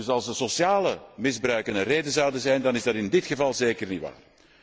Dus als sociaal misbruik een reden zou zijn, is dat in dit geval zeker niet waar.